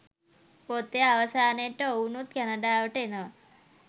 පොතේ අවසානයට ඔවුනුත් කැනඩාවට එනවා.